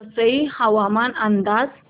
वसई हवामान अंदाज